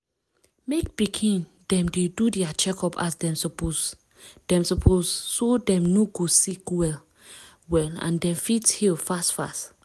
mek pikin dem dey do dia checkup as dem suppose dem suppose so dem no go sick well well and dem fit heal fast fast.